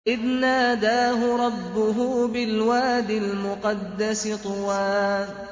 إِذْ نَادَاهُ رَبُّهُ بِالْوَادِ الْمُقَدَّسِ طُوًى